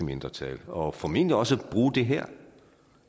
mindretal og formentlig også bruge det her